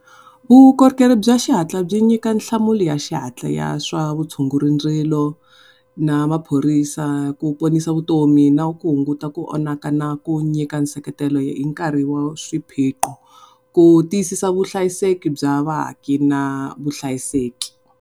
Vukorhokeri bya xihatla byi nyika nhlamulo ya xihatla ya swa vutshunguri ndzilo na maphorisa ku ponisa vutomi na ku hunguta ku onhaka na ku nyika nseketelo hi nkarhi wa swiphiqo ku tiyisisa vuhlayiseki bya vaaki na vuhlayiseki.